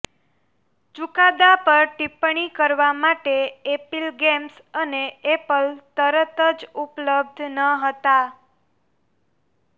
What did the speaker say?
ચુકાદા પર ટિપ્પણી કરવા માટે એપિક ગેમ્સ અને એપલ તરત જ ઉપલબ્ધ ન હતા